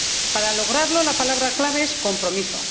Para lograrlo, la palabra clave es compromiso.